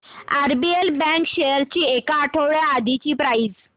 RBL bank shares ची एक आठवड्या आधीची प्राइस